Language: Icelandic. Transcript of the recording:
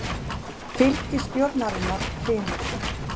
Fylgi ríkisstjórnarinnar hrynur